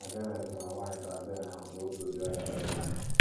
Ma Kenneth ma nwanyị Tanzania ahụ bu otu ụdị ọrịa: AIDS.